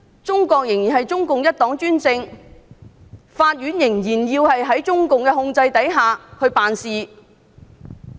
中國仍然是中共一黨專政，法院仍然在中共的控制下辦事。